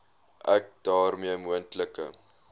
ek daarmee moontlike